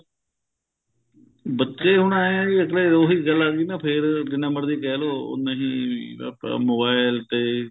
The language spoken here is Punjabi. ਬੱਚੇ ਹੁਣ ਐਂ ਏ ਫੇਰ ਉਹੀ ਗੱਲ ਆ ਗਈ ਨਾ ਫੇਰ ਜਿੰਨਾ ਮਰਜੀ ਕਹਿ ਲੋ ਉਨੇ ਹੀ mobile ਤੇ